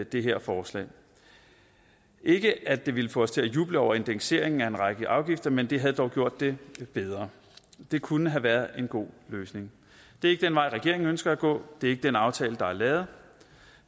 det her forslag ikke at det ville få os til at juble over indekseringen af en række afgifter men det havde dog gjort det bedre det kunne have været en god løsning det er ikke den vej regeringen ønsker at gå det er ikke den aftale der er lavet